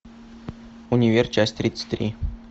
универ часть тридцать три